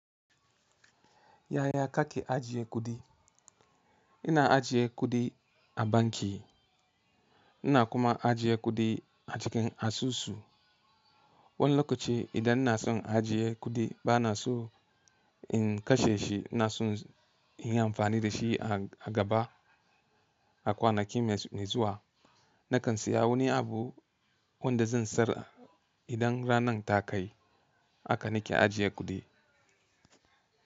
Yaya ka ke ajiye kuɗi? Ina ajiye kuɗi a banki. Ina kuma ajiye kuɗi a cikin asusu. Wani lokaci idan ina son ajiye kuɗi bana so in kashe shi. Ina son inyi amfani da shi a gaba, a kwanaki mai zuwa. Na kan siya wani abu wanda zan sayar idan ranar ta kai. Haka na ke ajiye kuɗi.